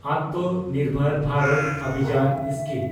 ᱟᱛᱢᱚ ᱱᱤᱨᱵᱷᱚᱨ ᱵᱷᱟᱨᱚᱛ ᱚᱵᱷᱤᱡᱟᱱ ᱥᱠᱤᱢ